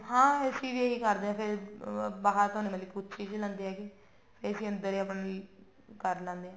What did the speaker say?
ਹਾਂ ਅਸੀਂ ਵੀ ਇਹੀ ਕਰਦੇ ਹਾਂ ਫੇਰ ਬਾਹਰ ਤੋਂ ਮਤਲਬ ਕੁੱਛ ਚੀਜ਼ ਲੈਂਦੇ ਹੈਗੇ ਅਸੀਂ ਅੰਦਰ ਆਪਣੇ ਕਰ ਲੈਂਦੇ ਹਾਂ